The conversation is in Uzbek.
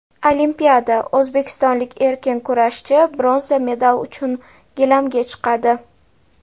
Olimpiada: o‘zbekistonlik erkin kurashchi bronza medal uchun gilamga chiqadi.